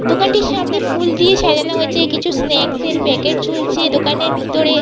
দোকানটির সামনে ফুল দিয়ে সাজানো হয়েছে কিছু স্নাক্স এর প্যাকেট ঝুলছে দোকানের ভিতরে--